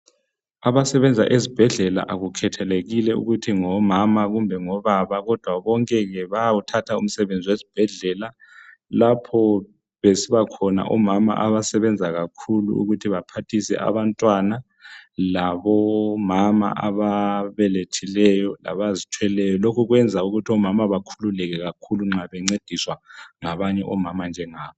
Abasebenza ezibhedlela akukhathalekile ukuthi ngomama kumbe ngobaba kodwa bonke-ke bayawukhatha umsebenzi wesibhedlela lapho besibakhona omama abasebenza kakhulu ukuthi baphathise abantwana labomama ababelethileyo labazithweleyo. Lokhu kwenza ukuthi omama bakhululeke kakhulu nxa bencediswa ngabanye omama njengabo.